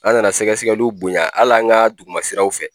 An nana sɛgɛsɛgɛliw bonya hali an ka duguma siraw fɛ.